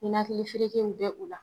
Ninakili ferekew bɛ o la